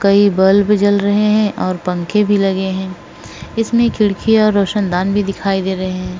कई बल्ब जल रहे हैं और पंखे भी लगे हैं। इसमें खिड़की और रोशनदान भी दिखाई दे रहे हैं।